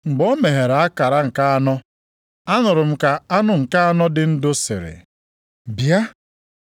Mgbe o meghere akara nke anọ, anụrụ m ka anụ nke anọ dị ndụ sịrị, “Bịa!”